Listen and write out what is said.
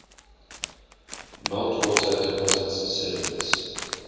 meltwater deposits sediments